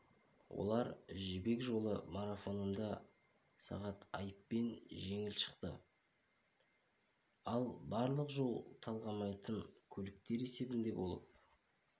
олар жібек жолы марафонында сағат айыппен жеңіп шықты ал барлық жол талғамайтын көліктер есебінде болып